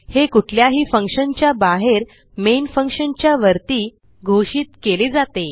हे कुठल्याही फंक्शनच्या बाहेरmain फंक्शन च्या वरती घोषित केले जाते